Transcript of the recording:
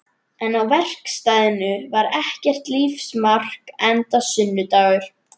En á verkstæðinu var ekkert lífsmark enda sunnudagur.